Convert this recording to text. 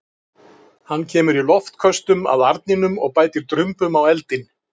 Hann kemur í loftköstum að arninum og bætir drumbum á eldinn.